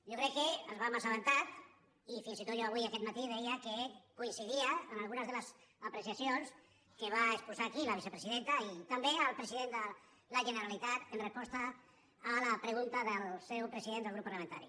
jo crec que ens en vam assabentar i fins i tot jo avui aquest matí deia que coincidia amb algunes de les apreciacions que va exposar aquí la vicepresidenta i també el president de la generalitat en resposta a la pregunta del seu president del grup parlamentari